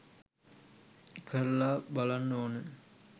කරලා බලන්න ඕනේ